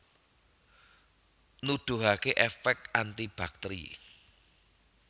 Nuduhaké èfèk anti baktèri